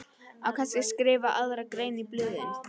Á kannski að skrifa aðra grein í blöðin?